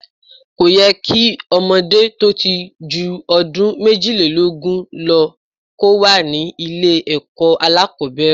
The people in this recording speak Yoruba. Kò yẹ kí ọmọdé tó ti ju ọdún méjìlélógún kò wà ní ilé ẹ̀kọ́ alákòbẹ̀rẹ̀.